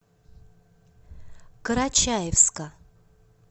карачаевска